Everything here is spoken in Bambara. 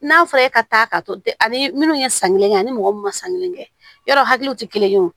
N'a fɔra e ka taa ka to ani minnu ye san kelen kɛ ani mɔgɔ munnu ma san kelen kɛ yɔrɔ hakiliw ti kelen ye o